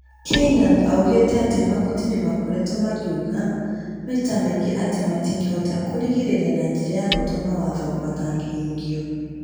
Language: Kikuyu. Keynan oigire atĩ magoti nĩ makoretwo makĩuga maita maingĩ atĩ matingĩhota kũĩgirĩrĩria na njĩra ya gũtua mawatho matangĩhingio.